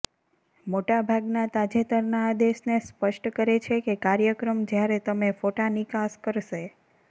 મોટા ભાગના તાજેતરના આદેશને સ્પષ્ટ કરે છે કે કાર્યક્રમ જ્યારે તમે ફોટા નિકાસ કરશે